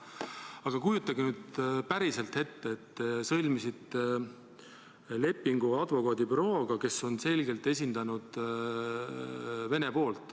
Aga kujutage nüüd päriselt ette, et te sõlmisite lepingu advokaadibürooga, kes on selgelt esindanud Vene poolt.